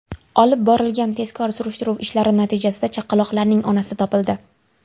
Olib borilgan tezkor surishtiruv ishlari natijasida chaqaloqlarning onasi topildi.